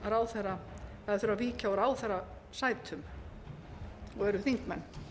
ráðherra eða þurfa að víkja úr ráðherrasætum og veru þingmenn